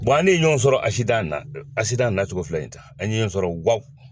an ne ɲɔgɔn sɔrɔ asidan in na asidan in nacogo filɛ in ye ta an ye ɲɔgɔn sɔrɔ wawu.